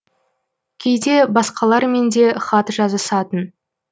кейде басқалармен де хат жазысатын